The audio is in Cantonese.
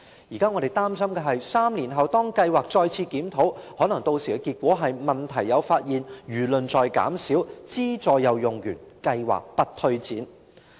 現在我們擔心的是 ，3 年後當計劃進行檢討，屆時的結果可能是："問題有發現，輿論在減少，資助又用完，計劃不推展"。